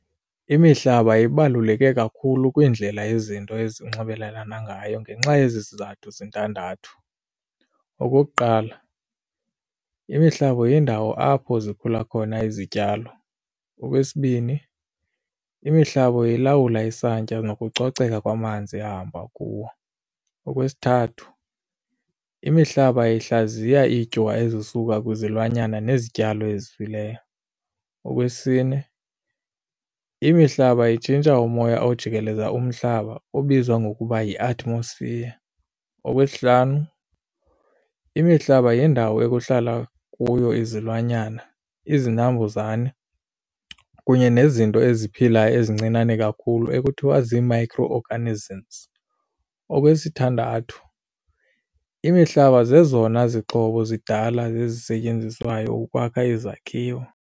Imihlaba ibaluleke kakhulu kwindlela izinto zendalo ezinxibelelana ngayo ngenxa yezi zizathu zintandathu- okokuqala, imihlaba yindawo apho zikhula khona izityalo, okwesibini, imihlaba ilawula isantya nokucoceka kwamanzi ahamba kuwo, okwesithathu, imihlaba ihlaziya iityuwa ezisuka kwizilwanyana nezityalo ezifileyo, okwesine, imihlaba itshintsha umoya ojikeleza umhlaba, obizwa ngokuba yi-atmosphere, okwesihlanu, imihlaba yindawo ekuhlala kuyo izilwanyana, izinambuzane, kunye nezinto eziphilayo ezincinane kakhulu ekuthiwa ziimicroorganisms, okwesithandathu, imihlaba zezona zixhobo zidala ezisetyenziswayo ukwakha izakhiwo.